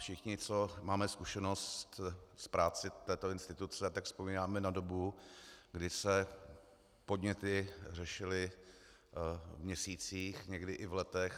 Všichni, co máme zkušenost s prací této instituce, tak vzpomínáme na dobu, kdy se podněty řešily v měsících, někdy i v letech.